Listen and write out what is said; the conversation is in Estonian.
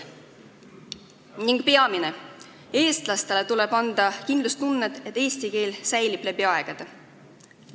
Ning peamine: eestlastele tuleb anda kindlustunnet, et eesti keel säilib läbi aegade.